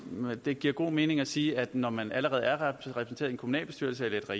det giver god mening at sige at når man allerede er repræsenteret i en kommunalbestyrelse eller